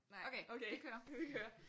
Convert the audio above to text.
Nej okay vi kører